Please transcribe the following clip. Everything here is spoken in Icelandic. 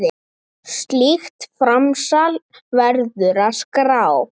Slíkt framsal verður að skrá.